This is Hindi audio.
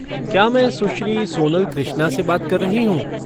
क्या मैं सुश्री सोनल कृष्णा से बात कर रही हूँ?